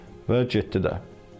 Və getdi də.